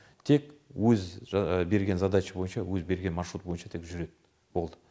тек өз берген задача бойынша өз берген маршрут бойынша тек жүреді болды